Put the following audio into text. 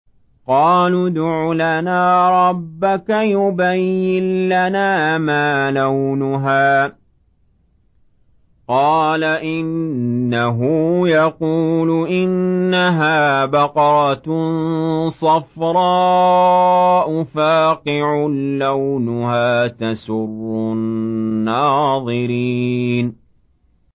قَالُوا ادْعُ لَنَا رَبَّكَ يُبَيِّن لَّنَا مَا لَوْنُهَا ۚ قَالَ إِنَّهُ يَقُولُ إِنَّهَا بَقَرَةٌ صَفْرَاءُ فَاقِعٌ لَّوْنُهَا تَسُرُّ النَّاظِرِينَ